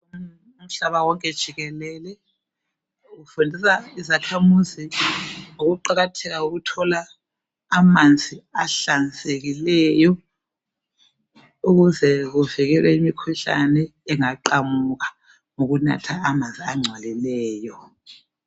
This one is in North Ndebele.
Umhlaba wonke jikelele, ufundisa izakhamuzi ngokuqakatheka, kokuthola amanzi ahlanzekileyo. Ukuze kuvikelwe imikhuhlane, engaqamuka, ngokunatha amanzi angcolileyo.